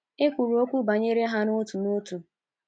E kwuru okwu banyere ha otu n' otu.